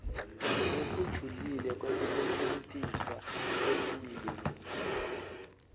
lokujulile kwekusetjentiswa kwelulwimi